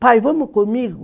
Pai, vamos comigo?